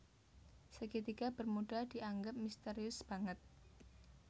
Segitiga bermuda dianggep misterius banget